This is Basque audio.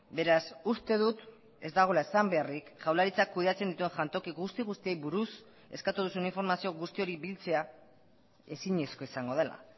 beraz uste dut ez dagoela esan beharrik jaurlaritzak kudeatzen dituen jantoki guzti guztiei buruz eskatu duzun informazio guzti hori biltzea ezinezkoa izango dela